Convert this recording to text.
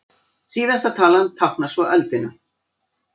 Síðasta talan táknar svo öldina.